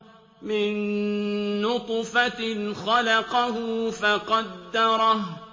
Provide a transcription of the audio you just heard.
مِن نُّطْفَةٍ خَلَقَهُ فَقَدَّرَهُ